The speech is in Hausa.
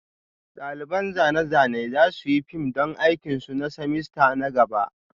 Ɗaliban zane-zane za su yi fim don aikin su na semester na gaba